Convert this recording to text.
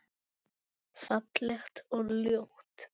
Hvað gefur þetta starf?